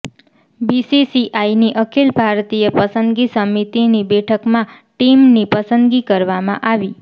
બીસીસીઆઈની અખિલ ભારતીય પસંદગી સમિતિની બેઠકમાં ટીમની પસંદગી કરવામાં આવી